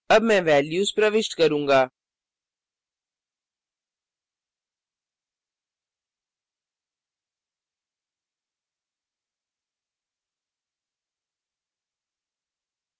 अब मैं values प्रविष्ट करूँगा